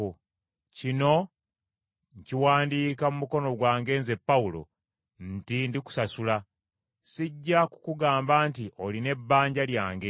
Kino nkiwandiika mu mukono gwange nze, Pawulo, nti ndikusasula. Sijja kukugamba nti olina ebbanja lyange.